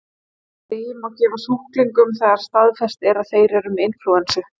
þessi lyf má gefa sjúklingum þegar staðfest er að þeir eru með inflúensu